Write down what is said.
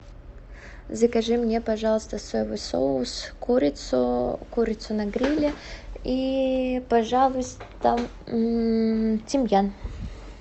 закажи мне пожалуйста соевый соус курицу курицу на гриле и пожалуйста тимьян